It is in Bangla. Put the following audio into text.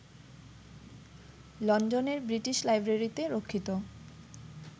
লন্ডনের বৃটিশ লাইব্রেরিতে রক্ষিত